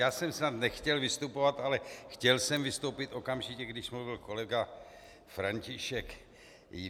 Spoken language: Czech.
Já jsem snad nechtěl vystupovat, ale chtěl jsem vystoupit okamžitě, když mluvil kolega František.